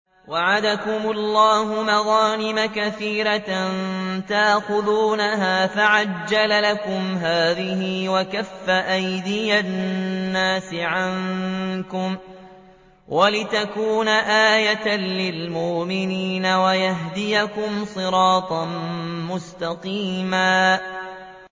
وَعَدَكُمُ اللَّهُ مَغَانِمَ كَثِيرَةً تَأْخُذُونَهَا فَعَجَّلَ لَكُمْ هَٰذِهِ وَكَفَّ أَيْدِيَ النَّاسِ عَنكُمْ وَلِتَكُونَ آيَةً لِّلْمُؤْمِنِينَ وَيَهْدِيَكُمْ صِرَاطًا مُّسْتَقِيمًا